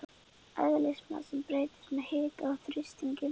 Eðlismassinn breytist með hita og þrýstingi.